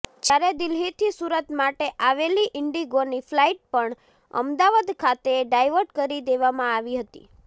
જ્યારે દિલ્હીથી સુરત માટે આવેલી ઇન્ડિગોની ફલાઇટ પણ અમદાવાદ ખાતે ડાયવર્ટ કરી દેવામાં આવી હતી